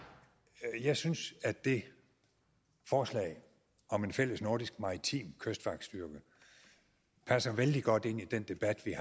jeg synes at det forslag om en fælles nordisk maritim kystvagtstyrke passer vældig godt ind i den debat vi